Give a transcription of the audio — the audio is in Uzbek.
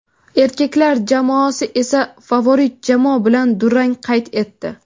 erkaklar jamoasi esa favorit jamoa bilan durang qayd etdi;.